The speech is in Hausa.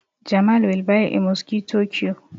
Jamal will buy a mosquito q